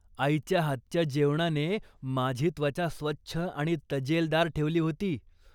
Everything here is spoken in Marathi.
आईच्या हातच्या जेवणाने माझी त्वचा स्वच्छ आणि तजेलदार ठेवली होती.